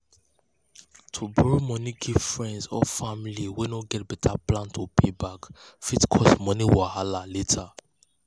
to borrow money give friends or family way no get better plan to pay back fit cause money wahala later.